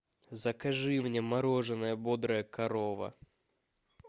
закажи мне мороженое бодрая корова